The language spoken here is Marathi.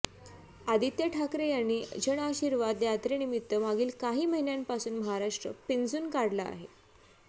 आदित्य ठाकरे यांनी जनआशीर्वाद यात्रेनिमित्त मागील काही महिन्यांपासून महाराष्ट्र पिंजून काढला आहे